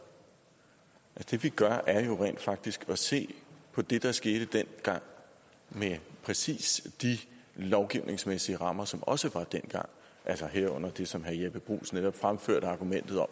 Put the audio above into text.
det vi gør er jo rent faktisk at se på det der skete dengang med præcis de lovgivningsmæssige rammer som der også var dengang altså herunder det som herre jeppe bruus netop fremførte argumentet om